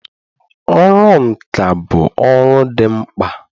ọrụ nka bụ ọrụ dị mkpa